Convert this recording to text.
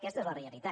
aquesta és la realitat